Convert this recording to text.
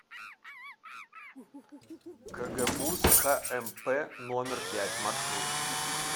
кгбуз кмп номер пять маршрут